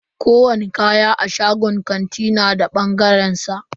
Kowani kaya a shagon kanti na da bangaren sa.